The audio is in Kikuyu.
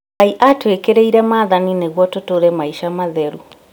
Ngai atwĩkĩrĩire maathani nĩguo tũtũre maica matheru